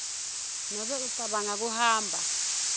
nobe ucabanga kuhamba